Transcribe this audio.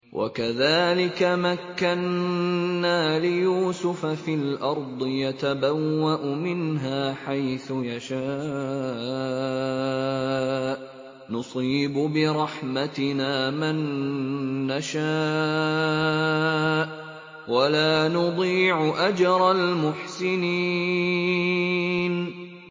وَكَذَٰلِكَ مَكَّنَّا لِيُوسُفَ فِي الْأَرْضِ يَتَبَوَّأُ مِنْهَا حَيْثُ يَشَاءُ ۚ نُصِيبُ بِرَحْمَتِنَا مَن نَّشَاءُ ۖ وَلَا نُضِيعُ أَجْرَ الْمُحْسِنِينَ